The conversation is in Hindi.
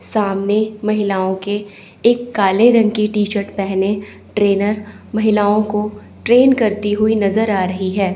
सामने महिलाओं के एक काले रंग की टीशर्ट पहने ट्रेनर महिलाओं को ट्रेन करती हुई नजर आ रही है।